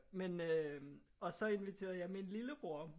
Men øh og så inviterede jeg min lillebror